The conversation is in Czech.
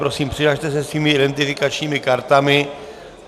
Prosím, přihlaste se svými identifikačními kartami.